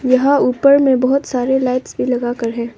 यहां ऊपर में बहुत सारे लाइट्स भी लगाकर है।